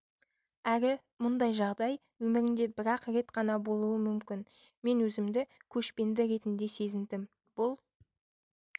әрі мұндай жағдай өміріңде бірақ рет ғана болуы мүмкін мен өзімді көшпенді ретінде сезіндім бұл